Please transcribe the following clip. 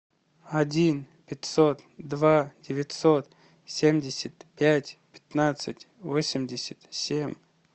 один пятьсот два девятьсот семьдесят пять пятнадцать восемьдесят семь